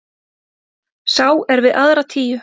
Sá er við aðra tíu.